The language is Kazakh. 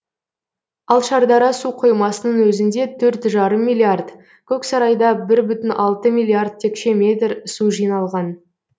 ал шардара су қоймасының өзінде төрт жарым миллиард көксарайда бір бүтін алты миллиард текше метр су жиналған